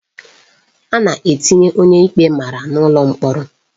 A na-etinye onye ikpe mara n'ụlọ mkpọrọ.